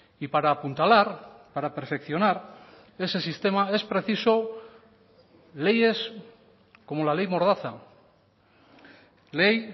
y para apuntalar para perfeccionar ese sistema es preciso leyes como la ley mordaza ley